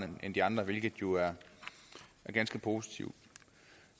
end de andre hvilket jo er ganske positivt